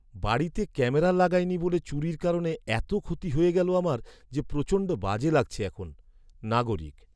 বাড়িতে ক্যামেরা লাগাই নি বলে চুরির কারণে এতো ক্ষতি হয়ে গেলো আমার যে প্রচণ্ড বাজে লাগছে এখন! নাগরিক